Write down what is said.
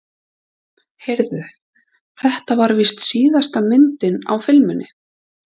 Heyrðu. þetta var víst síðasta myndin á filmunni.